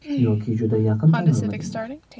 Yoki juda yaqin tanirmidinglar?